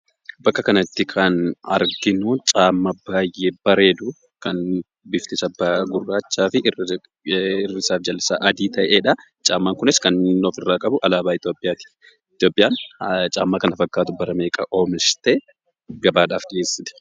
Bakka kanatti kan arginu kophee baay'ee bareedu, kan bifti isaa gurraachaafi irri isaafi jalli isaa adii ta'edha. Kopheen kunis kan inni ofirraa qabu alaabaa Itoophiyaati. Itoophiyaan kophee kana fakkaatu bara meeqa oomishtee; gabaaf dhiyeessite?